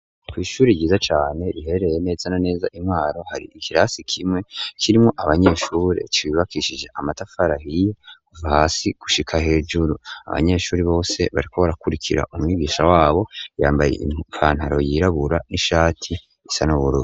Kw'ishuri ryiza cane riherereye neza na neza i Mwaro, hari ikirasi kimwe kirimwo abanyeshuri, cubakishije amatafari ahiye kuva hasi gushika hejuru; abanyeshuri bose bariko barakurikira umwigisha wabo, yambaye ipantaro yirabura n'ishati isa n'ubururu.